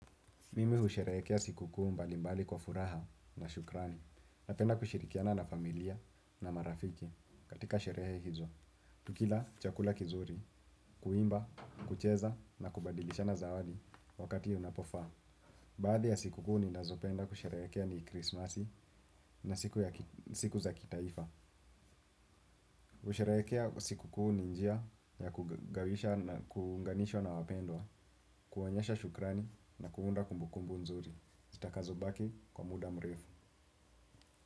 Mimi usherehekea sikukuu mbalimbali kwa furaha na shukrani. Napenda kushirikiana na familia na marafiki katika sherehe hizo. Tukila chakula kizuri, kuimba, kucheza na kubadilishana zawadi wakati unapofaa. Baadhi ya sikukuu ni nazopenda kusherehekea ni krismasi na siku za kitaifa. Kusherehekea sikukuu ninjia ya kugawisha na kuunganishwa na wapendwa, kuonyesha shukrani na kuunda kumbukumbu nzuri. Zitakazo baki kwa muda mrefu.